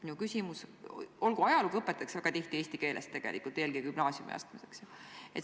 Olgu, ajalugu õpetatakse tegelikult väga tihti Eesti keeles, eelkõige gümnaasiumiastmes.